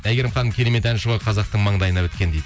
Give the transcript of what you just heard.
әйгерім ханым керемет әнші ғой қазақтың маңдайына біткен дейді